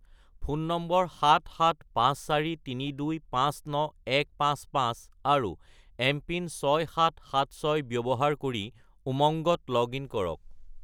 Phone number 77543259155 আৰু MPIN 6776 ব্যৱহাৰ কৰি উমংগত লগ-ইন কৰক।